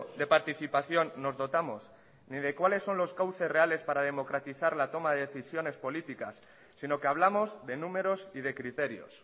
de participación nos dotamos ni de cuáles son los cauces reales para democratizar la toma de decisiones políticas sino que hablamos de números y de criterios